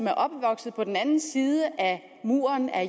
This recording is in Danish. er opvokset på den anden side af muren af